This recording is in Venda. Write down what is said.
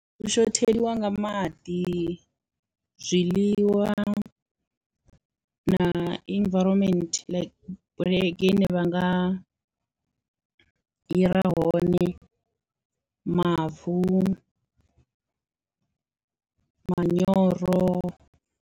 U shotheliwa nga maḓi, zwiḽiwa na environment like bulege ine vha nga hira hone mavu, manyoro.